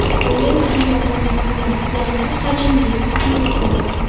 Bunday usul yordamida ular yanada hajmli va quyuq bo‘ladi.